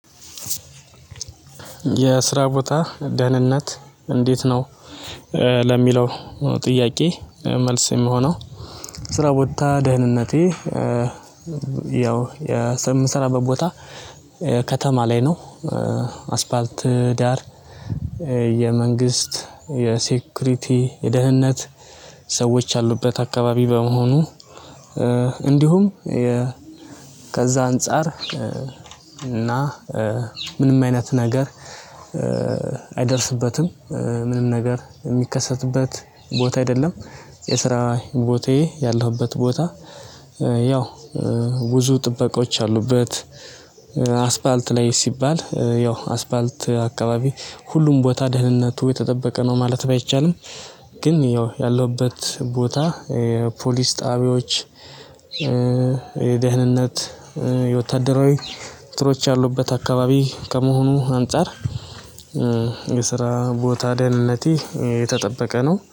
የስራ ቦታ ደህንነት እንዴት ነው? ለሚለው ጥያቄ መልስ የሚሆነው ስራ ቦታ ደህንነቴ ያው የምሰራበት ቦታ ከተማ ላይ ነው። አስፋርት ዳር የመንግስት ሴኩሪቲ የደህንነት ሰዎች አሉበት አካባቢ በመሆኑ። እንዲሁም ከዛ አንፃር እና ምንም አይነት ነገር አይደርስበትም ምንም ነገር የሚከሰትበት ቦታ አይደለም። የስራ ቦታዬ ያለሁበት ቦታ ያው ብዙ ጥበቆች አሉበት። በአስፋልት ላይ ሲባል ያው አስፋልት አካባቢ ሁሉም ቦታ ደህንነቱ የተጠበቀ ነው ማለት ባይቻልም። ግን ያለሁበት ቦታ ፖሊስ ጣቢያዎች የደህንነት የወታደራዊ ትሮች ያሉበት አካባቢ ከመሆኑ አንፃር። የስራ ቦታ ደህንነቴ የተጠበቀ ነው